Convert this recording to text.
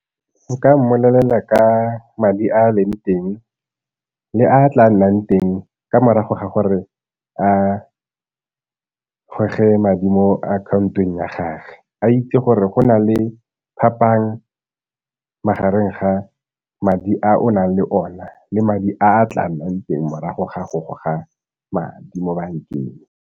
Nka mmolelela ka madi a a leng teng le a tla nnang teng ka morago ga gore a goge madi mo akhaontong ya gagwe. A itse gore go na le phapang magareng ga madi a o nang le ona le madi a a tla nnang teng morago ga go goga madi mo bankeng.